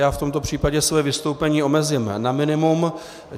Já v tomto případě své vystoupení omezím na minimum.